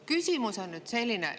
Küsimus on nüüd selline.